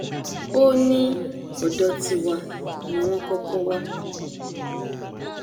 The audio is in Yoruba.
ó ní ọdọ tiwa ni wọn kọkọ wà